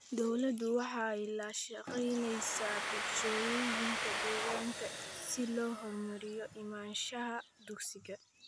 Dawladdu waxay la shaqaynaysaa bulshooyinka deegaanka si loo horumariyo imaanshaha dugsiga.